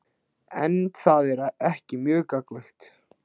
En það er ekki mjög gagnlegt.